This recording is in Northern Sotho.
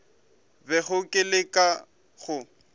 bego ke le ka go